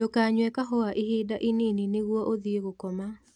Ndũkanyue kahũa ihinda inini nĩguo ũthie gũkoma